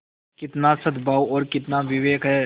कितना सदभाव और कितना विवेक है